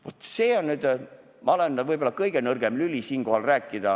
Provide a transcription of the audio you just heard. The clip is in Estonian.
Vaat sel teemal olen ma võib-olla kõige nõrgem lüli siin rääkima.